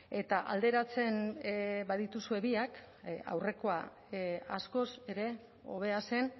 eta alderatzen badituzue biak aurrekoa askoz ere hobea zen